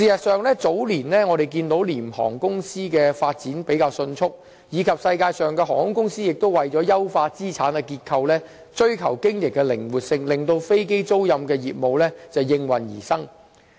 事實上，早年我們看到廉航公司的發展比較迅速，並且世界各地的航空公司亦為了優化資產的結構，追求經營的靈活性，令飛機租賃的業務應運而生。